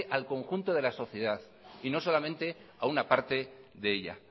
al conjunto de la sociedad y no solamente a una parte de ella